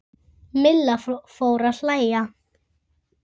Milla fór að hlæja.